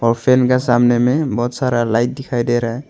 और फैन के सामने में बहोत सारा लाइट दिखाई दे रहा है।